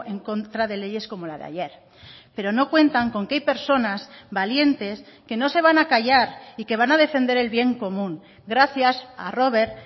en contra de leyes como la de ayer pero no cuentan con que hay personas valientes que no se van a callar y que van a defender el bien común gracias a rober